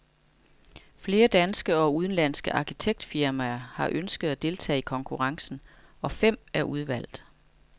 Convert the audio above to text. Flere danske og udenlandske arkitektfirmaer har ønsket at deltage i konkurrencen, og fem er udvalgt.